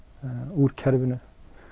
úr kerfinu